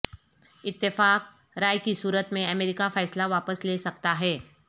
اتفاق رائے کی صورت میں امریکہ فیصلہ واپس لے سکتا ہے